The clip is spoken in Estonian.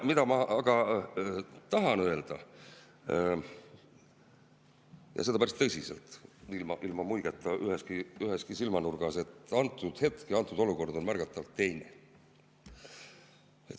Mida ma aga tahan öelda, ja seda päris tõsiselt, ilma muigeta üheski silmanurgas, on see, et praegune hetk ja praegune olukord on märgatavalt teine.